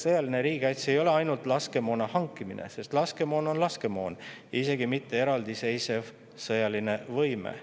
Sõjaline riigikaitse ei ole ainult laskemoona hankimine, sest laskemoon on laskemoon, isegi mitte eraldiseisev sõjaline võime.